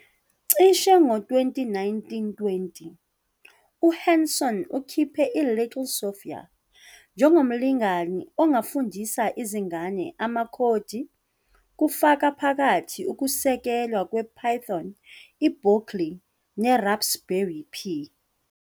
Cishe ngo-2019-20, uHanson ukhiphe i- "Little Sophia" njengomlingani ongafundisa izingane amakhodi, kufaka phakathi ukusekelwa kwePython, iBlockly, neRaspberry Pi.